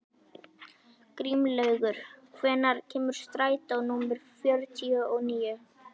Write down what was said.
Grímlaugur, hvenær kemur strætó númer fjörutíu og níu?